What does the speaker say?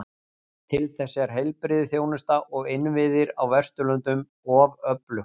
Til þess er heilbrigðisþjónusta og innviðir á Vesturlöndum of öflug.